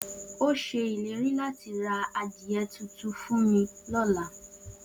O se ileri lati ra adie tutu lola.